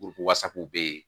be yen